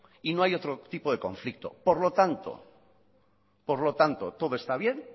y no hay otro tipo de conflicto por lo tanto todo está bien